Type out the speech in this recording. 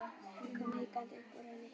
Hann kom hikandi upp úr henni.